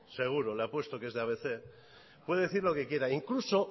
seguro le apuesto a que es de abc puede decir lo que quiera incluso